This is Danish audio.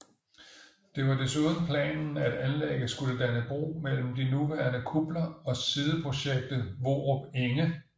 Det var desuden planen at anlæget skulle danne bro mellem de nuværende kupler og sideprojektet Vorup Enge